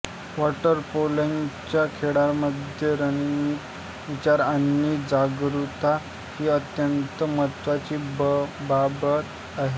water पोलोच्या खेळामध्ये रणनीतिक विचार आणि जागरूकता ही अत्यंत महत्वाची बाब आहेत